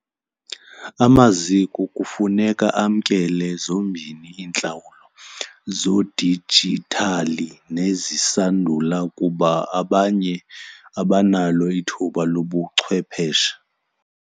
Amaziko kufuneka amkele zombini iintlawulo zodijithali nezisandula kuba abanye abanalo ithuba lobuchwepeshe.